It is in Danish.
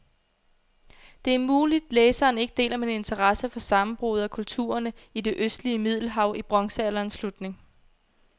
Det er muligt, læseren ikke deler min interesse for sammenbruddet af kulturerne i det østlige middelhav i bronzealderens slutning.